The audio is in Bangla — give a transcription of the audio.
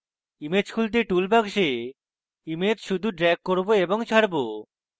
image খুলতে আমি tool box image শুধু drag করব এবং ছাড়ব